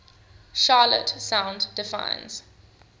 charlotte sound defines